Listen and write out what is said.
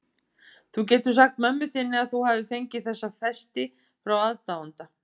Þú getur sagt mömmu þinni að þú hafir fengið þessa festi frá aðdáanda.